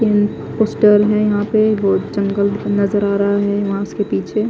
तिन पोस्टर है यहा पे बहोत जंगल नजर आ रहा है वहा से पीछे--